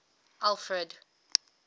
alfred